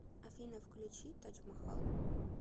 афина включи тадж махал